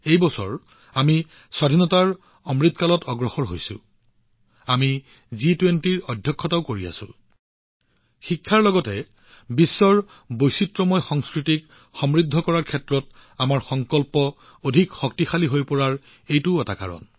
এই বছৰ যত আমি আজাদী কা অমৃতকালৰ দিশত আগবাঢ়িছো আমি জি২০ৰ অধ্যক্ষতা কৰি আছো শিক্ষাৰ লগতে বিভিন্ন গোলকীয় সংস্কৃতিক সমৃদ্ধ কৰাৰ আমাৰ সংকল্প শক্তিশালী হোৱাৰ এইটোও এটা কাৰণ